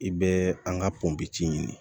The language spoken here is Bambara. I bɛ an ka pɔnpe ɲini